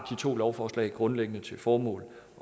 to lovforslag grundlæggende til formål